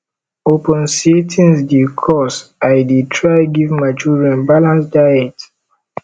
upon sey tins dey cost i dey try give my children balance diet